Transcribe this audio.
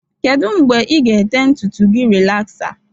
Kedu mgbe ị ga-ete ntutu gị rịlaxa?